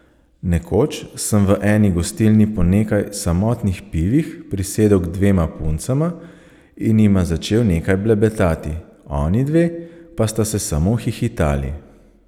Nekoč sem v eni gostilni po nekaj samotnih pivih prisedel k dvema puncama in jima začel nekaj blebetati, onidve pa sta se samo hihitali.